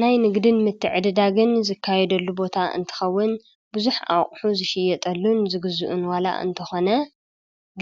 ናይ ንግድን ምትዕድዳግን ዝካየደሉ ቦታ እንትኸውን ብዙኅ ኣቕሑ ዝሽየጠሉን ዝግዝኡን ዋላ እንተኾነ